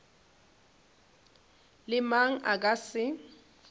le mang a ka se